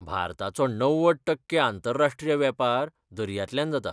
भारताचो णव्वद टक्के आंतरराष्ट्रीय वेपार दर्यांतल्यान जाता.